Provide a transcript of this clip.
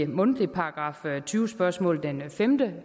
mundtligt § tyve spørgsmål den femte